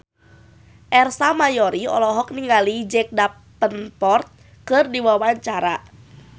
Ersa Mayori olohok ningali Jack Davenport keur diwawancara